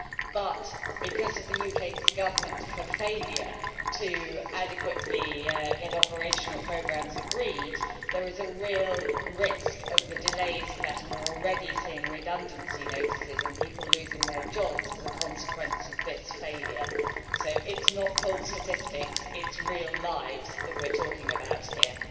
But, because of the UK Government's failure to adequately get operational programmes agreed, there is a real risk of delays in that and we are already seeing redundancy notices and people losing their jobs as a consequence of this failure, so it is not cold statistics, it is real lives that we are talking about here.